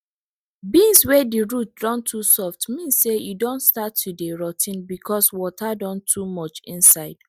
beans wey di root don too soft mean say e don start to dey rot ten becos water don too much inside